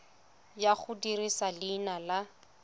ya go dirisa leina la